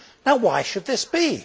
Now why should this be?